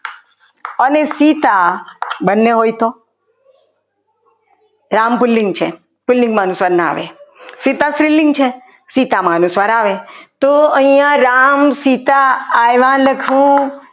અને સીતા બંને હોય તો રામ પુલ્લિંગ છે પુલ્લિંગમાં અનુસ્વાર ન આવે સીતા સ્ત્રીલિંગ છે સીતામાં અનુસ્વાર આવે તો અહીંયા રામ સીતા આવ્યા લખું.